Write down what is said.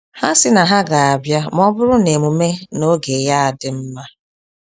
Ha si na ha ga abia ma ọ bụrụ na emume na-oge ya a adị mma